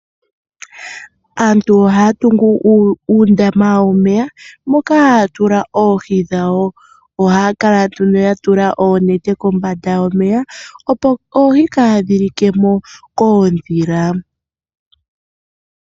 Aantu ohaya tungu uundama womeya moka haya tula oohi dhawo. Ohaya kala nduno ya tula oonete kombanda opo oohi kaadhi li ke mo koondhila.